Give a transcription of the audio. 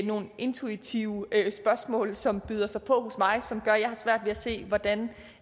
nogle intuitive spørgsmål som presser sig på hos mig og som gør at jeg har svært ved at se hvordan